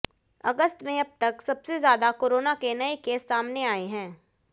अगस्त में अब तक सबसे ज्यादा कोरोना के नए केस सामने आए हैं